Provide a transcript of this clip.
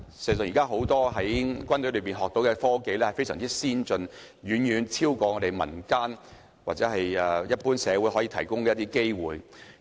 現時，很多軍隊讓軍人學到非常先進的科技，這種機會勝過民間或社會可以提供的機會。